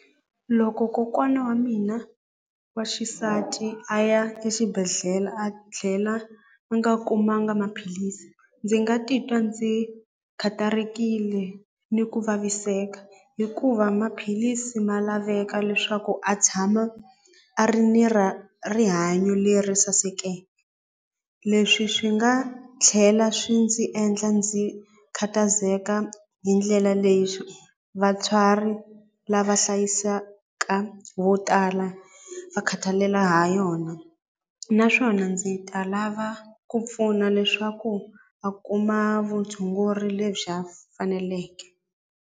Loko kokwana wa mina wa xisati a ya exibedhlele a tlhela a nga kumanga maphilisi ndzi nga titwa ndzi khatarekile ni ku vaviseka hikuva maphilisi ma laveka leswaku a tshama a ri ni ra rihanyo leri saseke leswi swi nga tlhela swi ndzi endla ndzi khathazeka hi ndlela leyi vatswari lava hlaya yisaka vo tala va khatalela ha yona naswona ndzi ta lava ku pfuna leswaku a kuma vutshunguri lebyi a faneleke.